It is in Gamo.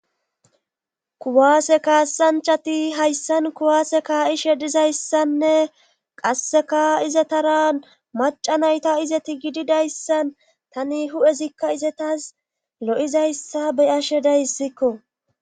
kuwaase kaasanchati hayssan kuwaase kaa7ishe dizayssanne qasseka izetara maca nayta izeti gididayssan tani hu7ezikka izetas lo7izayssa be'ashe dayssikko